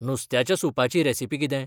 नुस्त्याच्या सूपाची रेसिपी किदें ?